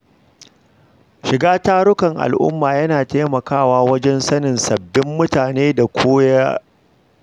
Shiga tarukan al’umma yana taimakawa wajen sanin sabbin mutane da koyi da al’ada.